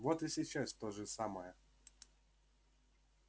вот и сейчас то же самое